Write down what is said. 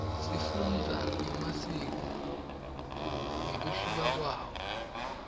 sifundza nemasiko ngekuhluka kwawo